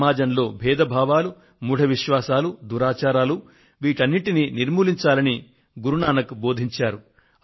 సమాజంలో బేధభావాలు మూఢ విశ్వాసాలు దురాచారాలు వీటిని నిర్మూలించాలని గురు నానక్ దేవ్ బోధించారు